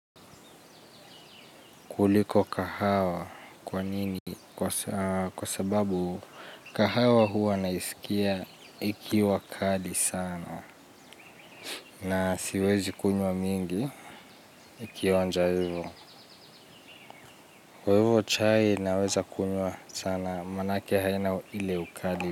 Kuliko kahawa kwa nini kwa sababu kahawa huwa naisikia ikiwa kali sana na siwezi kunywa mingi ikionja hivyo. Kwa hivyo chai naweza kunywa sana maanake haina ile ukali.